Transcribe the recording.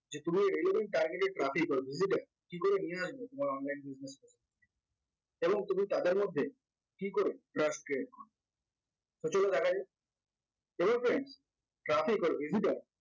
যে তুমি relevant targeted traffic or visitor কি করে নিয়ে আসবে এবং online business এবং তুমি তাদের মধ্যে কি করে trust create করবে তো চলুন দেখা যাক friends traffic or visitor